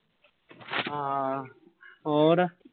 ਹਾਂ ਹੋਰ।